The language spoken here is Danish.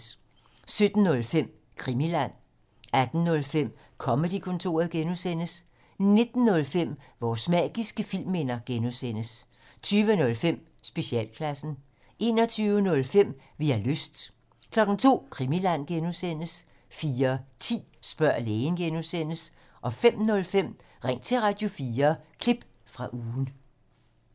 17:05: Krimiland 18:05: Comedy-kontoret (G) 19:05: Vores magiske filmminder (G) 20:05: Specialklassen 21:05: Vi har lyst 02:00: Krimiland (G) 04:10: Spørg lægen (G) 05:05: Ring til Radio4 – klip fra ugen